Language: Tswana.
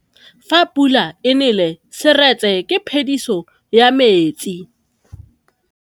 Fa pula e nelê serêtsê ke phêdisô ya metsi.